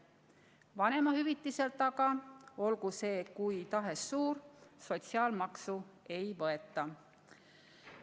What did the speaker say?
Vanemahüvitiselt aga, olgu see kui tahes suur, sotsiaalmaksu ei võeta.